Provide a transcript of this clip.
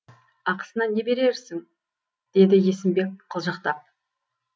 ақысына не берерсің деді есімбек қылжақтап